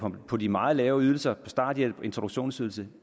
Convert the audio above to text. på de meget lave ydelser starthjælp introduktionsydelse